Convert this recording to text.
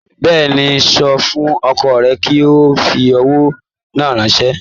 Bẹ́ẹ̀ni, sọ fún ọkọ rẹ kí ó fi owó náà ránṣẹ́